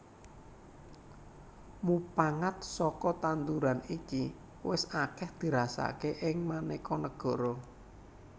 Mupangat saka tanduran iki wis akèh dirasakaké ing manéka negara